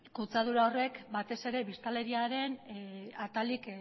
kutsadura horrek batez ere biztanleriaren atalik